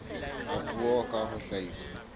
a puo ka ho hlahisa